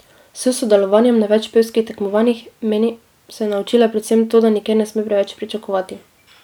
S sodelovanjem na več pevskih tekmovanjih, meni, se je naučila predvsem to, da nikjer ne sme preveč pričakovati.